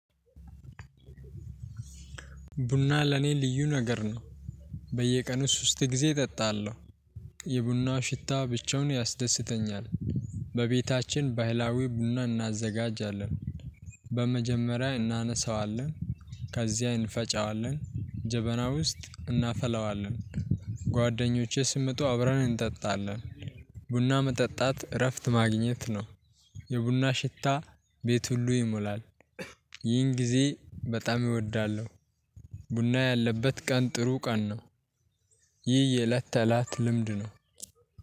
ቡና ለኔ ልዩ ነገር ነው። በየቀኑ ሶስት ጊዜ እጠጣለሁ። የቡና ሽታ ብቻውን ያስደስተኛል። በቤታችን ባህላዊ ቡና እናዘጋጃለን። በመጀመሪያ እናነሳዋለን ከዚያ እንፈጨዋለን ጀበናው ውስጥ እናፈላዋለን። ጓደኞቼ ሲመጡ አብረን እንጠጣለን። ቡና መጠጣት እረፍት ማግኘት ነው። የቡና ሽታ ቤት ሁሉ ይሞላል። ይህን ጊዜ በጣም እወዳለሁ። ቡና ያለበት ቀን ጥሩ ቀን ነው። ይህ የእለት ተእለት ልምድ ነው።